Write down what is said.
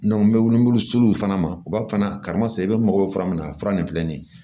n bɛ wili n b'olu seluw fana ma u b'a fɔ fana karimasina i bɛ mɔgɔw fura min a fura nin filɛ nin ye